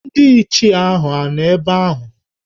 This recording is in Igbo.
Ndị Ichie hà nọ ebe ahụ?